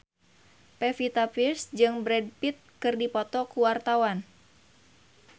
Pevita Pearce jeung Brad Pitt keur dipoto ku wartawan